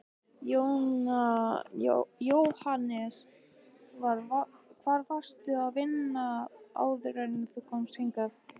Jóhannes: Hvar varstu að vinna áður en þú komst hingað?